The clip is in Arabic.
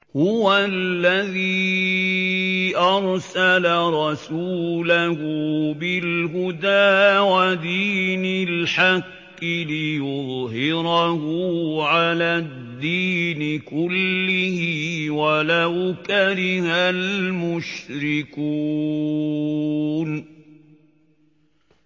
هُوَ الَّذِي أَرْسَلَ رَسُولَهُ بِالْهُدَىٰ وَدِينِ الْحَقِّ لِيُظْهِرَهُ عَلَى الدِّينِ كُلِّهِ وَلَوْ كَرِهَ الْمُشْرِكُونَ